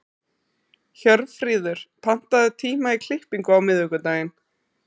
Hjörfríður, pantaðu tíma í klippingu á miðvikudaginn.